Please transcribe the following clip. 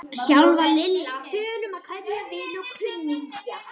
Sjálf var Lilla á þönum að kveðja vini og kunningja.